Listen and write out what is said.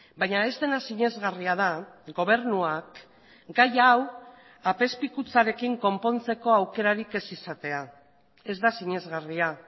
baina ez dena sinesgarria da gobernuak gai hau apezpikutzarekin konpontzeko aukerarik ez izatea ez da sinesgarria